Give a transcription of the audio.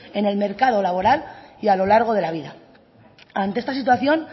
en el mercado laboral y a lo largo de la vida ante esta situación